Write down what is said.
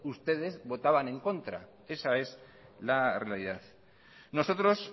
ustedes votaban en contra esa es la realidad nosotros